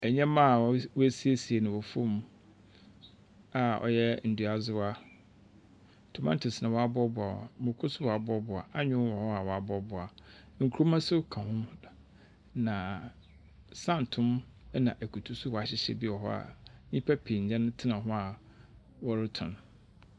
ℇnyɛmma a wɔasiesie wɔ fam a ɔyɛ nduadzewa. Tomatoes na wɔaboaboa, moko nso wɔaboaboa, anyoo nso wɔaboaboa, nkruma nso ka ho. Na santoo na akutu nso wɔahyehyɛ bi wɔ hɔ a nnipa pii nyɛn tena ho a wɔretɔn.